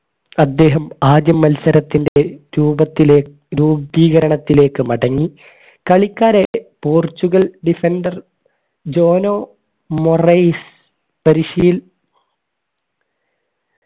അദ്ദേഹം ആദ്യം മത്സരത്തിന്റെ രൂപത്തിലേ രൂപീകരണത്തിലേക്ക് മടങ്ങി കളിക്കാരായിട്ട് പോർച്ചുഗൽ defender ധോനോ മൊറൈസ് പരിശീല